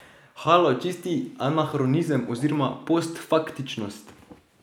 Halo, čisti anahronizem oziroma postfaktičnost.